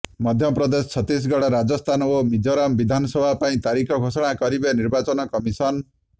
ମଧ୍ୟପ୍ରଦେଶ ଛତିଶଗଡ଼ ରାଜସ୍ଥାନ ଓ ମିଜୋରାମ ବିଧାନସଭା ପାଇଁ ତାରିଖ ଘୋଷଣା କରିବେ ନିର୍ବାଚନ କମିଶନ